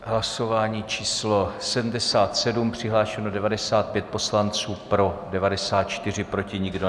Hlasování číslo 77, přihlášeno 95 poslanců, pro 94, proti nikdo.